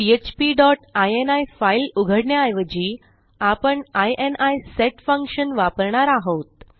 PHP dot ini file उघडण्याऐवजी आपण ini set function वापरणार आहोत